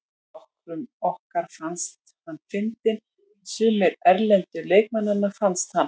Nokkrum okkar fannst hann fyndinn en sumir erlendu leikmannanna fannst hann.